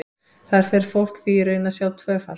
Þar fer fólk því í raun að sjá tvöfalt.